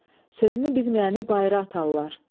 Sözünü bilməyəni bayra atarlar.